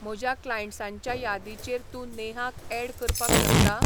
म्हज्या क्लायंट्सांच्या यादीचेर तूं नेहाक ऍड करपाक शकता?